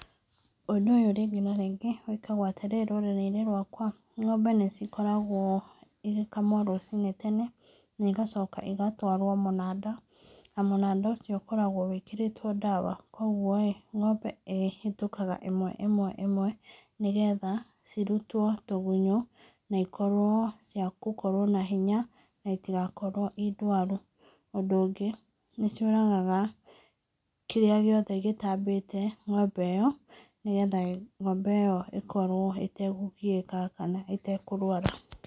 Ũndũ ũyũ rĩngĩ na rĩngĩ wĩkagwo atĩrĩrĩ rũrĩrĩ-inĩ rwakwa, ng'ombe nĩ cikoragwo cigĩkamwo rũciinĩ na igacoka igatwarwo mũnanda na mũnanda ũcio ũkoragwo wĩkĩrĩtwo ndawa. Kũoguo-ĩ, ng'ombe ĩhetũkaga ĩmwe ĩmwe nĩgetha cirutwo tũgunyũ na ikorwo cia gũkorwo na hinya na itigakorwo indwaru. Ũndũ ũngĩ, nĩ ciũragaga kĩrĩa gĩothe gĩtambĩte ng'ombe ĩyo nĩ getha ng'ombe ĩyo ĩkorwo ĩtekũgiĩka kana ĩtekũrwara.